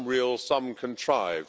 some real, some contrived.